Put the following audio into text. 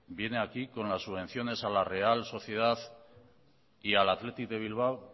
viene aquí con las subvenciones a la real sociedad y al athletic de bilbao